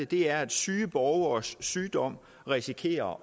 det er at syge borgeres sygdom risikerer